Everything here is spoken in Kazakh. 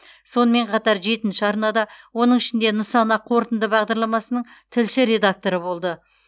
сонымен қатар жетінші арнада оның ішінде нысана қорытынды бағдарламасының тілші редакторы болды